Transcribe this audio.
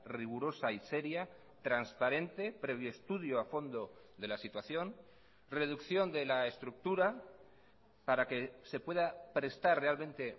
rigurosa y seria transparente previo estudio a fondo de la situación reducción de la estructura para que se pueda prestar realmente